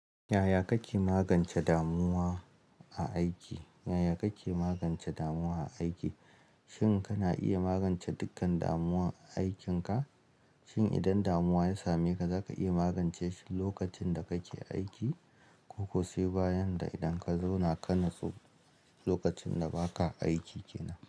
Yaya kake magance damuwa a aiki? Yaya kake magance damuwa a aiki? Shin kana iya magance dukkan damuwa a aikinka? Shin idan damuwa ya same ka, zaka iya magance shi lokacin da kake aiki? Ko ko sai bayan da idan ka zauna ka nutsu lokacin da ba ka aiki kenan?